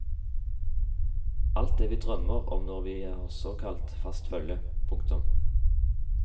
Alt det vi drømmer om når vi har såkalt fast følge. punktum